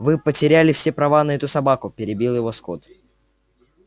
вы потеряли все права на эту собаку перебил его скотт